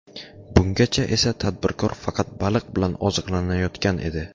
Bungacha esa tadbirkor faqat baliq bilan oziqlanayotgan edi.